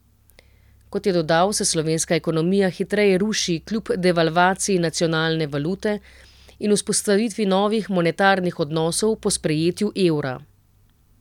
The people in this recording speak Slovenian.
Kot je dodal, se slovenska ekonomija hitreje ruši kljub devalvaciji nacionalne valute in vzpostavitvi novih monetarnih odnosov po sprejetju evra.